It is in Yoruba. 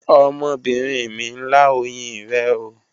Ọmọbinrin mi n la oyin rẹ ooo